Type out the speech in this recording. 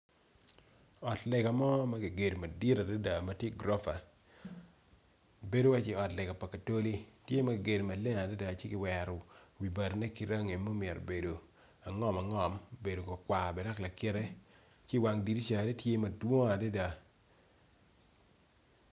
Ot lega mo makigero madit adada matye goropa bedo wacci ot lega pa katoli tye makigero maleng ci kiwero wi bati ne kirangi ma omyero obedo angom angom obedo makwar bene lakite ci wang dirisa ne tye madwong adada.